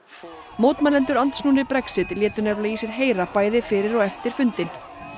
mótmælendur andsnúnir Brexit létu nefnilega í sér heyra bæði fyrir og eftir fundinn